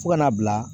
Fo ka n'a bila